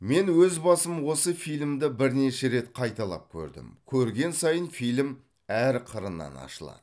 мен өз басым осы фильмді бірнеше рет қайталап көрдім көрген сайын фильм әр қырынан ашылады